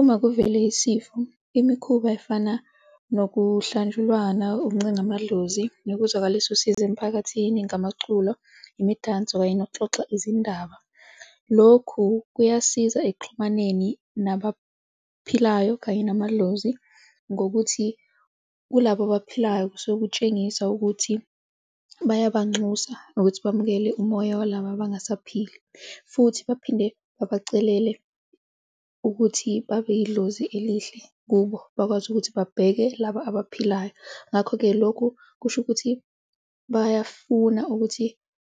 Uma kuvele isifo, imikhuba efana nokuhlanjulwana, ukuncenga amadlozi nokuzwakalisa usizo emphakathini ngamaculo, imidanso kanye nokuxoxa izindaba. Lokhu kuyasiza ekuxhumaneni nabaphilayo kanye namadlozi ngokuthi kulabo abaphilayo kusuke kutshengisa ukuthi bayabanxusa ukuthi bamukele umoya walaba abangasaphili futhi baphinde babacelele ukuthi babe yidlozi elihle kubo, bakwazi ukuthi babheke laba abaphilayo. Ngakho-ke, lokhu kusho ukuthi bayafuna ukuthi